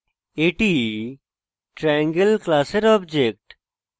এটি triangle class object